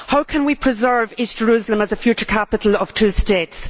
How can we preserve East Jerusalem as a future capital of two states?